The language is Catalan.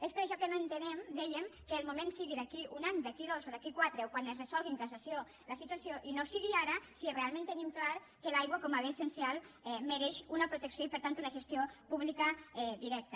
és per això que no entenem dèiem que el moment sigui d’aquí a un any d’aquí a dos o d’aquí a quatre o quan es resolgui en cassació la situació i no sigui ara si realment tenim clar que l’aigua com a bé essencial mereix una protecció i per tant una gestió pública directa